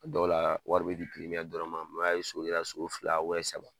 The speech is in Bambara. A dɔw la wari bɛ di dɔrɔn ma , ye so kɛra so fila saba